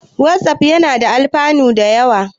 Watsaf yana da alfanu da yawa.